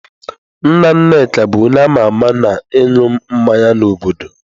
Nna nna Nneka bu onye ama ama na ịṅụ mmanya n'obodo.